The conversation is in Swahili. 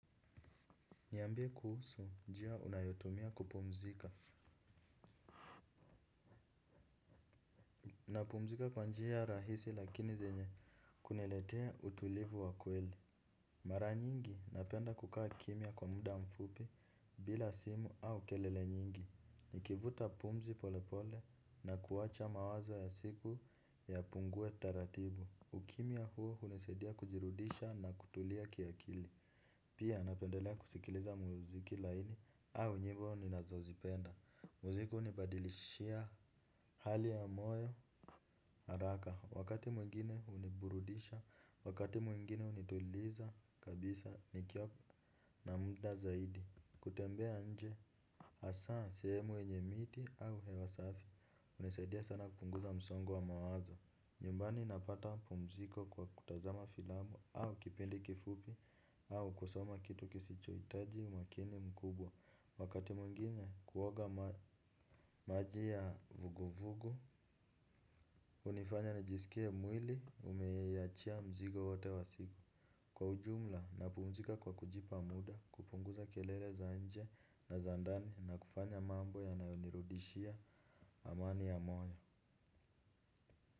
Niambie kuhusu njia unayotumia kupumzika. Napumzika kwa njia rahisi lakini zenye kuniletea utulivu wa kweli. Mara nyingi napenda kukaa kimya kwa muda mfupi bila simu au kelele nyingi. Nikivuta pumzi pole pole na kuwacha mawazo ya siku ya pungue taratibu. Ukimya huo hunisaidia kujirudisha na kutulia kiakili. Pia napendelea kusikiliza muziki laini au nyimbo ni nazozipenda. Muziki unibadilishia hali ya moyo haraka. Wakati mwingine huniburudisha. Wakati mwingine hunituliza kabisa ni kiwa na muda zaidi. Kutembea nje hasa sehemu yenye miti au hewa safi unisaidia sana kupunguza msongo wa mawazo. Nyumbani napata pumziko kwa kutazama filamu au kipindi kifupi au kusoma kitu kisicho hitaji umakini mkubwa. Wakati mwingine kuoga maji ya vuguvugu, unifanya nijisikie mwili umeiyachia mzigo wate wa sigo. Kwa ujumla na pumzika kwa kujipa muda, kupunguza kelele za nje na za ndani na kufanya mambo ya nayonirudishia amani ya moyo.